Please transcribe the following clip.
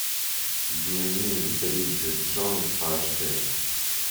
дневник бриджит джонс аш д